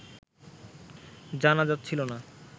জানা যাচ্ছিল না